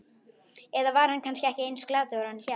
Eða var hann kannski ekki eins glataður og hann hélt?